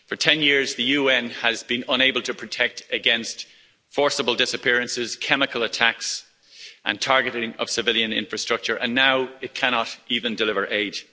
For 10 years the UN has been unable to protect against forcible disappearances, chemical attacks and targeting of civilian infrastructure, and now it cannot even deliver aid.